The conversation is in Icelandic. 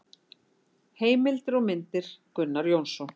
Heimildir og myndir: Gunnar Jónsson.